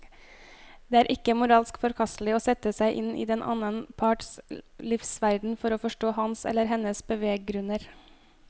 Det er ikke moralsk forkastelig å sette seg inn i den annen parts livsverden for å forstå hans eller hennes beveggrunner.